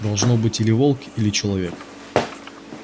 должно быть или волк или человек